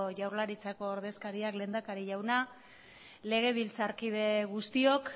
jaurlaritzako ordezkariak lehendakari jaunak legebiltzarkide guztiok